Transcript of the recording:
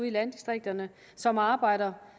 i landdistrikterne som arbejder